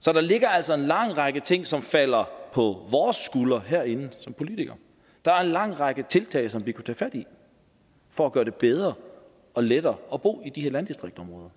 så der ligger altså en lang række ting som falder på vores skuldre herinde som politikere der er en lang række tiltag som vi kunne tage fat i for at gøre det bedre og lettere at bo i de her landdistriktsområder